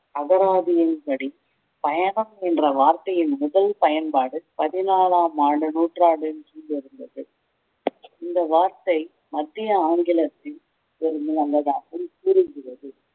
அகராதியின் படி பயணம் என்ற வார்த்தையின் முதல் பயன்பாடு பதினாலாம் ஆண்டு நூற்றாண்டு கீழ் இருந்தது இந்த வார்த்தை மத்திய ஆங்கிலத்தில் கூறுகிறது